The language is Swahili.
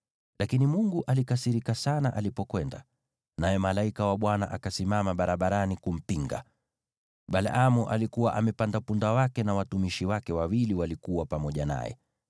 Lakini Mungu alikasirika sana alipokwenda, naye malaika wa Bwana akasimama barabarani kumpinga. Balaamu alikuwa amepanda punda wake, na watumishi wake wawili walikuwa pamoja naye.